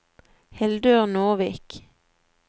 Hildur Nordvik